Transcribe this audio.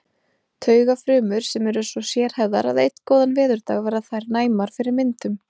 Taugafrumur sem eru svo sérhæfðar að einn góðan veðurdag verða þær næmar fyrir myndum.